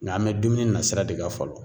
Ŋa an bɛ dumuni na sira de kan fɔlɔ.